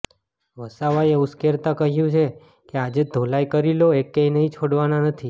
વસાવાએ ઉશ્કેરતા કહ્યું કે આજે ધોલાઈ કરી લો એકેયને છોડવાના નથી